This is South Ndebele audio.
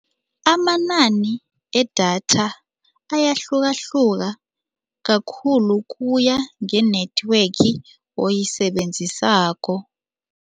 Amanani edatha ayahlukahluka, kakhulu kuya nge-network oyisebenzisako.